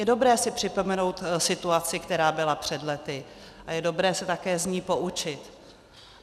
Je dobré si připomenout situaci, která byla před lety, a je dobré se také z ní poučit.